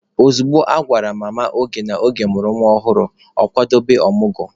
Ozugbo a gwara Mama Oge na Oge mụrụ nwa ọhụrụ, ọ kwadobe ọmụgwọ.